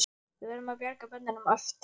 Við verðum að bjarga börnunum æpti